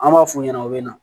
An b'a f'u ɲɛna u bɛ na